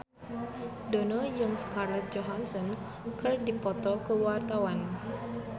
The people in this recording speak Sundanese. Dono jeung Scarlett Johansson keur dipoto ku wartawan